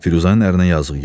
Firuzənin ərinə yazığı gəldi.